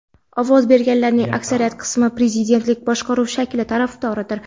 ovoz berganlarning aksariyat qismi prezidentlik boshqaruv shakli tarafdoridir.